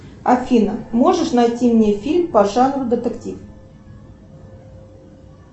афина можешь найти мне фильм по жанру детектив